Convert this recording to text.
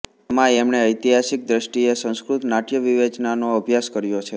એમાં એમણે ઐતિહાસિક દ્રષ્ટિએ સંસ્કૃત નાટ્યવિવેચનનો અભ્યાસ કર્યો છે